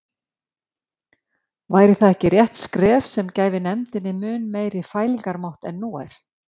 Væri það ekki rétt skref sem gæfi nefndinni mun meiri fælingarmátt en nú er?